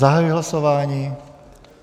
Zahajuji hlasování.